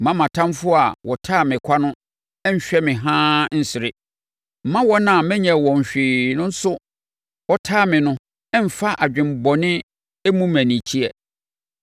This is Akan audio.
Mma mʼatamfoɔ a wɔtane me kwa no nhwɛ me haa nsere. Mma wɔn a menyɛɛ wɔn hwee nso wɔtane me no mmfa adwene bɔne mmu me anikyeɛ.